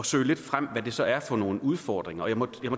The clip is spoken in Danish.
søge lidt frem hvad det så er for nogle udfordringer og jeg må